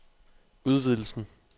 udvidelsen